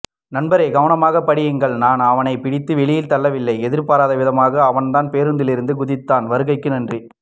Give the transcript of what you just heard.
நன்பரே கவனமாக படியுங்கள் நான் அவனைப்பிடித்து வெளியே தள்ளவில்லை எதிர்பாராத விதமாக அவன்தான் பேரூந்திலிருந்து குதித்தான் வருகைக்கு நன்றி